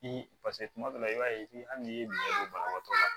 Ni paseke kuma dɔ la i b'a ye hali n'i ye don banabagatɔ la